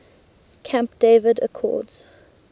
camp david accords